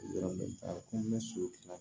Yɔrɔ bɛ taa ko ne soli